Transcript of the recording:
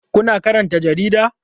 Kuna karanta jarida?